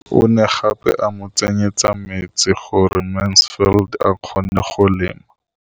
O ne gape a mo tsenyetsa metsi gore Mansfield a kgone go lema.